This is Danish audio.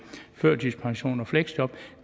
førtidspension og fleksjob